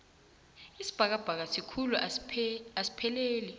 isibhakabhaka sikhulu asipheleli